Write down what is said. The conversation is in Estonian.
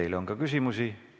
Teile on ka küsimusi.